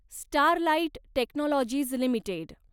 Sterlite Technologies limited